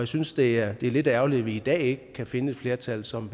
synes det er lidt ærgerligt at vi i dag ikke kan finde et flertal som